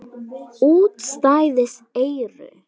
Útstæð eyru.